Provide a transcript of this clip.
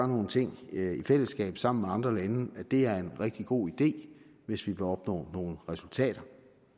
nogle ting i fællesskab sammen med andre lande er en rigtig god idé hvis vi vil opnå nogle resultater